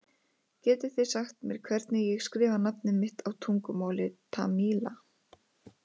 Getið þið sagt mér hvernig ég skrifa nafnið mitt á tungumáli Tamíla?